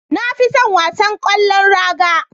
Na fi son wasan ƙwallon raga